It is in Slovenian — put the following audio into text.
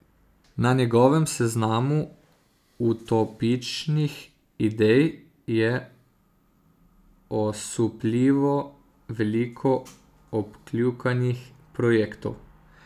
Na njegovem seznamu utopičnih idej je osupljivo veliko odkljukanih projektov.